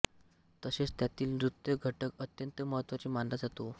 तसेच त्यातील नृत्य घटक अत्यंत महत्त्वाचा मानला जातो